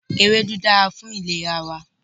Ewédú dára fún ìlera wa